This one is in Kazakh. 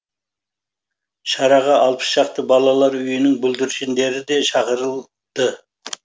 шараға алпыс шақты балалар үйінің бүлдіршіндері де шақырылды